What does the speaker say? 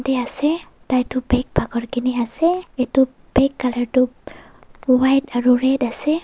ase tai tu bag pakar kina ase etu bag colour tu white aru red ase.